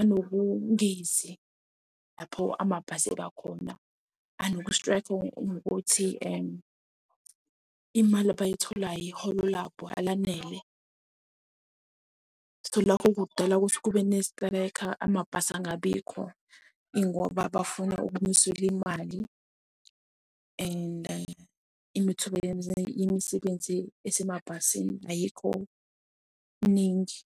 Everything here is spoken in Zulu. anokungezi lapho amabhasi abakhona anoku-strike ngokuthi imali abayitholayo iholo labo alanele, so lokho kudala ukuthi kube nesiteleka amabhasi angabikho ingoba bafuna ukwenyuselwa imali and amathuba emisebenzi yasemabhasini ayikho miningi.